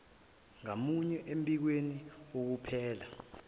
ngamunye embikweni wokuphela